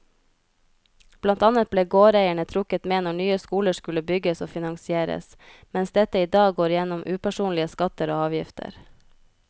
Blant annet ble gårdeierne trukket med når nye skoler skulle bygges og finansieres, mens dette i dag går gjennom upersonlige skatter og avgifter.